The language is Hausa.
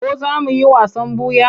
Ko za mu yi wasan ɓuya?